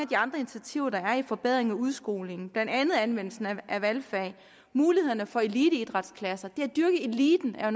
de andre initiativer der er til forbedring af udskolingen blandt andet anvendelsen af valgfag og mulighederne for eliteidrætsklasser det at dyrke eliten er